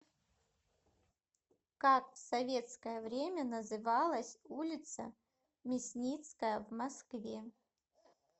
как в советское время называлась улица мясницкая в москве